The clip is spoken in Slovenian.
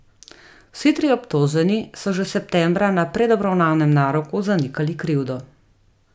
Vsi trije obtoženi so že septembra na predobravnavnem naroku zanikali krivdo.